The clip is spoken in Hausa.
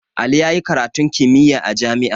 Ali yayi karatun kimiyya a jami'a